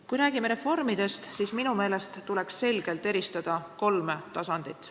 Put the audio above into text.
Kui räägime reformidest, siis minu meelest tuleks selgelt eristada kolme tasandit.